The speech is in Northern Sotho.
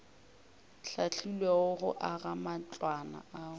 hlahlilwego go aga matlwana ao